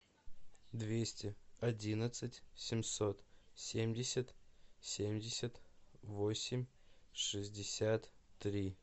двести одиннадцать семьсот семьдесят семьдесят восемь шестьдесят три